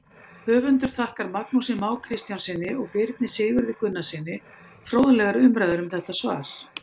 Höfundur þakkar Magnúsi Má Kristjánssyni og Birni Sigurði Gunnarssyni fróðlegar umræður um þetta svar.